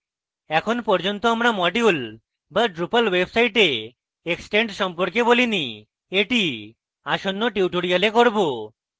এখন পর্যন্ত আমরা modules বা drupal website এক্সট্রেন্ড সম্পর্কে বলিনি এটি আসন্ন tutorials করব